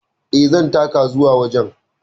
E, zan taka zuwa wajen.